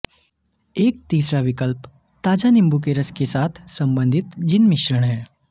एक तीसरा विकल्प ताजा नींबू के रस के साथ संबंधित जिन मिश्रण है